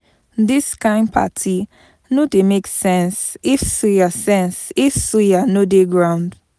Dis kain party no dey make sense if suya sense if suya no dey groung.